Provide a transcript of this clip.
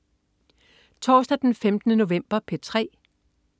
Torsdag den 15. november - P3: